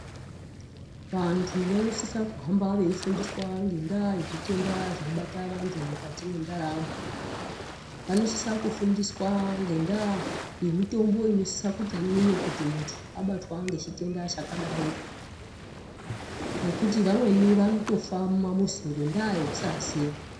Vantu vanosisa kuhamba veifundiswa ngendaa yezvitenda zvinobata vantu mukati mwendaramo. Vanosisa kufundiswa ngendaa yemutombo inosisa kuti imwiwe kuti muntu abatwa ngechitenda chakadaroko. Ngekuti vamweni vanotofa mumamuzi ngondaa yekusaziya.